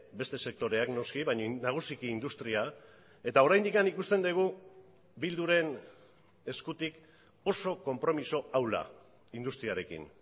beste sektoreak noski baina nagusiki industria eta oraindik ikusten dugu bilduren eskutik oso konpromiso ahula industriarekin